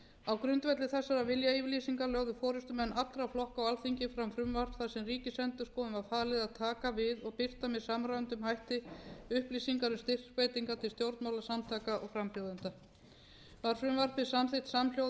á grundvelli þessara viljayfirlýsinga lögðu forustumenn allra flokka á alþingi fram frumvarp þar sem ríkisendurskoðun var falið að taka við og birta með samræmdum hætti upplýsingar um styrkveitingar til stjórnmálasamtaka og frambjóðenda var frumvarpið samþykkt samhljóða sem